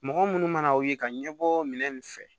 Mɔgɔ munnu mana u ye ka ɲɛbɔ minɛn in fɛ